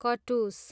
कटुस